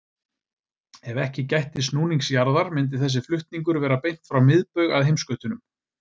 Ef ekki gætti snúnings jarðar myndi þessi flutningur vera beint frá miðbaug að heimskautunum.